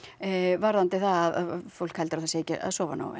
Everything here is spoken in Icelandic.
varðandi það að fólk heldur að það sé ekki að sofa nógu vel